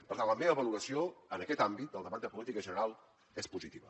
per tant la meva valoració en aquest àmbit del debat de política general és positiva